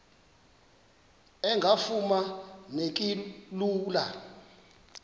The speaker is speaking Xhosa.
engafuma neki lula